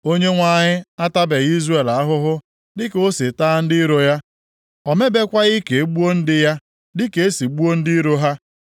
Onyenwe anyị atabeghị Izrel ahụhụ dịka o si taa ndị iro ya. O mebekwaghị ka e gbuo ndị ya dị ka e si gbuo ndị iro ha.